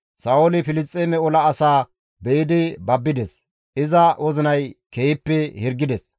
Sa7ooli Filisxeeme ola asaa be7idi babbides; iza wozinay keehippe hirgides.